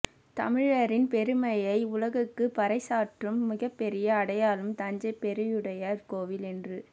தமிழரின் பெருமையை உலகுக்குப் பறைசாற்றும் மிகப்பெரிய அடையாளம் தஞ்சை பெருவுடையார் கோவில் என்று